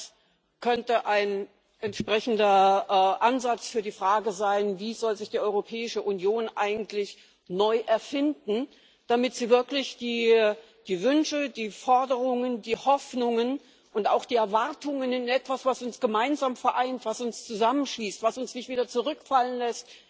Auch das könnte ein entsprechender Ansatz für die Frage sein Wie soll sich die Europäische Union eigentlich neu erfinden, damit sie wirklich die Wünsche, die Forderungen, die Hoffnungen und auch die Erwartungen in etwas widerspiegelt, was uns gemeinsam vereint, was uns zusammenschließt, was uns nicht wieder zurückfallen lässt